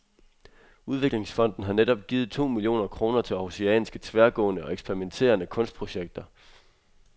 Udviklingsfonden har netop givet to millioner kroner til århusianske, tværgående og eksperimenterende kunstprojekter.